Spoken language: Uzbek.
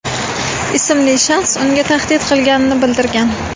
ismli shaxs unga tahdid qilganini bildirgan.